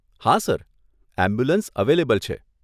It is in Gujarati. હા સર, એમ્બ્યુલન્સ અવેલેબલ છે.